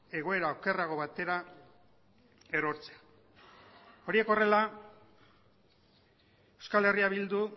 egoera okerrago batera erortzea horiek horrela euskal herria bildu